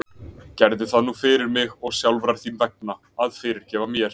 Gerðu það nú fyrir mig, og sjálfrar þín vegna, að fyrirgefa mér.